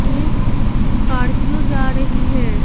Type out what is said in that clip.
एक स्कॉर्पियो जा रही है।